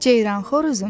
Ceyran xoruzum,